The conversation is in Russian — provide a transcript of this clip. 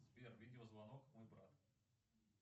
сбер видеозвонок мой брат